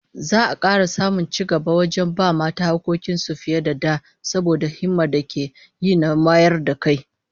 Za'a kara samun cigaba wajen ba mata hakkokin su fiye da da, saboda himmar da ake yi na wayar da kai